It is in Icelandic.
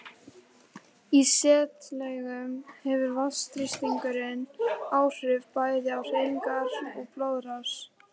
Í setlaugum hefur vatnsþrýstingur áhrif bæði á hreyfingar og blóðrás.